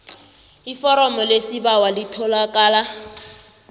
iforomo lesibawo litholakala